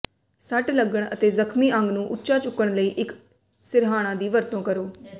ਸੱਟ ਲੱਗਣ ਅਤੇ ਜ਼ਖ਼ਮੀ ਅੰਗ ਨੂੰ ਉੱਚਾ ਚੁੱਕਣ ਲਈ ਇੱਕ ਸਿਰਹਾਣਾ ਦੀ ਵਰਤੋਂ ਕਰੋ